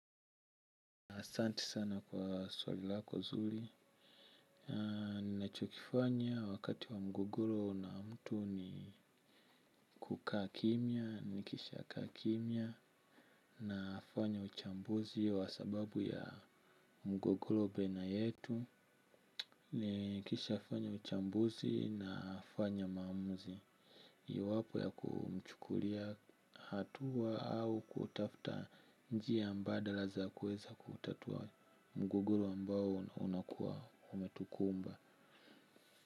Asanti sana kwa swali lako nzuri. Ninacho kifanya wakati wa mgogoro na mtu ni kukaa kimya, nikisha kaa kimya nafanya uchambuzi wa sababu ya mgogoro baina yetu. Nikisha fanya uchambuzi nafanya maamuzi iwapo ya kumchukulia hatua au kutafta njia mbadala za kuweza kutatua mgogoro ambao unakuwa umetukumba.